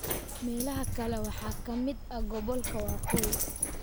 Meelaha kale waxaa ka mid ah Gobolka Waqooyi